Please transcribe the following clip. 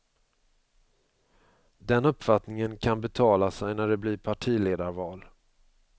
Den uppfattningen kan betala sig när det blir partiledarval.